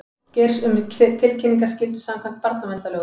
Geirs um tilkynningaskyldu samkvæmt barnaverndarlögum